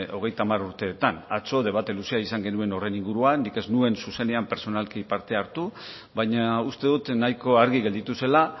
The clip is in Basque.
hogeita hamar urteetan atzo debate luzea izan genuen horren inguruan nik ez nuen zuzenean pertsonalki parte hartu baina uste dut nahiko argi gelditu zela